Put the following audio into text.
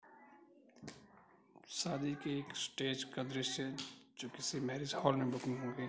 शादी के एक स्टेज का दृश्य जो किसी मेरिज हॉल में बुकिंग --